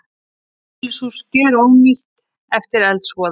Einbýlishús gjörónýtt eftir eldsvoða